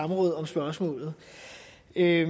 er